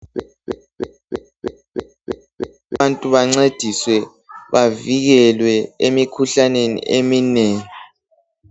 Abantu bancediswe bavikelwe emikhuhlaneni eminengi